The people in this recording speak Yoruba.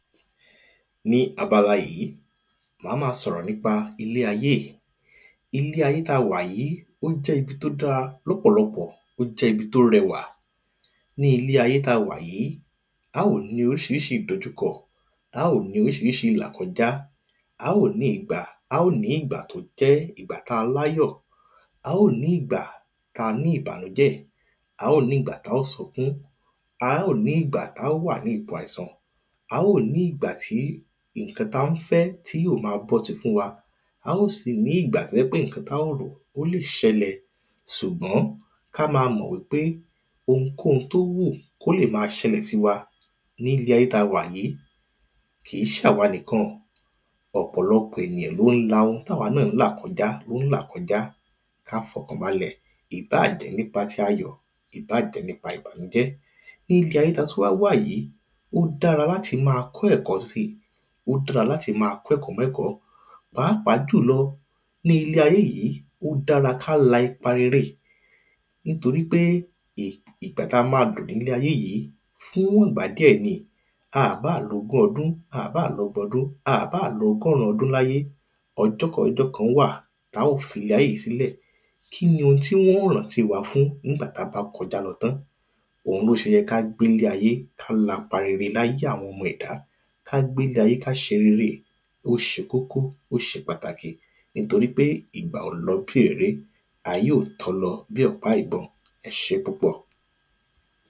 Ní abala yí, mà á má a sọ̀rọ̀ nípa ilé ayé í. Ilé ayé tá a wà yí ó jẹ́ ibi tó dára lọpọ̀lọpọ̀, ó jẹ́ ibi tó rẹwà. Ní ilé ayé tá a wà yí, á ò ní orísírísí ìdojúkọ, á ò ní orísirísí ìlàkọjá. Á ó ní ìgbà á ó ní ìgbà tó jẹ́ igbà tá a láyọ̀. Á ó ní ìgbà ta ní ìbànùjẹ́. Á ó ní ìgbà tá ó sunkún. Á ó ní ìgbà tá ó wà ní ipò àìsàn. Á ó ní ìgbà tí ǹkan ta fẹ́ tí yóò ma bọ́ si fún wa. Á ò sì ní ìgbà tó jẹ́ pé ǹkan tá rò ó lè sẹlẹ̀. Sùgbọ́n ká ma mọ̀ wípé phunkóhun tó wù kó lè ma sẹlẹ̀ sí wa nílé ayé ta wà yí, kì í sàwa nìkan. Ọ̀pọ̀lọpọ̀ ènìyàn ló ń la ntáwa náà ń là kọjá tó ń là kọjá. Ká fọkàn balẹ̀, ìbáà jẹ́ nípa ti ayọ̀, ìbáà jẹ́ nípa ti ìbànújẹ́. Níbi ayé ta tún wá wà yí, ó dára láti ma kọ́ ẹ̀kọ́ si. ó dára láti ma kọ́ ẹ̀kọ́ mẹ́kọ̀ọ́ Pàápàá jùlọ ní ilé ayé yí, ó dára ká la ipa rere. Nítorípé ì ìgbà tá a má a lò nílé ayé yí fún wọ̀n ìgbà díẹ̀ ni. A à báà lo ogún ọdún a à báà lo ọgbọ̀n ọdún a à báà lo ọgọ́run ọdún láyé, ọjọ́ kan ọjọ́ kan á wà ta ó filé ayé yí sílẹ̀. Kínni wọ́n ó rántí wa fún ńgbà ta bá kọjá lọ tán. Òun ló se yẹ ká gbélé ayé ká lapa rere láyé àwọn ọmọ ẹ̀dá. Ká gbélé ayé ká ṣe rere ó ṣe kókó ó ṣe pàtàkì. Nítorípé ìgbà ò lọ bí òréré, ayé ò tọ́ lọ bí ọ̀pá ìbọn. Ẹ ṣé púpọ̀.